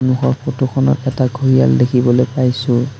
সন্মুখৰ ফটোখনত এটা ঘঁৰিয়াল দেখিবলৈ পাইছোঁ।